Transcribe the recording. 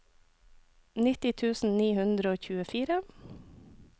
nitti tusen ni hundre og tjuefire